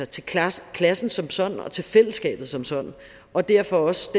til klassen klassen som sådan og til fællesskabet som sådan og derfor også